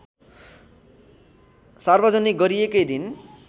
सार्वजनिक गरिएकै दिन